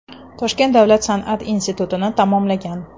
Toshkent davlat san’at institutini tamomlagan.